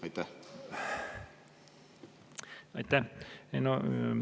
Aitäh!